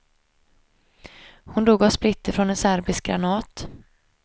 Hon dog av splitter från en serbisk granat.